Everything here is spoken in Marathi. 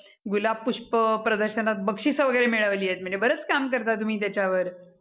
गुलाब पुष्प प्रदर्शनात बक्षीस वगैरे मिळवली आहेत म्हणजे बरच काम करता तुम्ही त्याच्यावर.